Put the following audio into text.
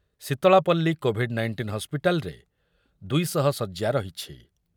Sitalapalli covid nineteen ହସ୍ପିଟାଲରେ ଦୁଇ ଶହ ଶଯ୍ୟା ରହିଛି ।